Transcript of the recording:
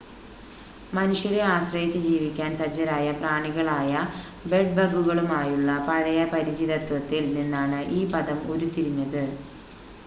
മനുഷ്യരെ ആശ്രയച്ച് ജീവിക്കാൻ സജ്ജരായ പ്രാണികളായ ബെഡ്-ബഗുകളുമായുള്ള പഴയ പരിചിതത്വത്തിൽ നിന്നാണ് ഈ പദം ഉരുത്തിരിഞ്ഞത്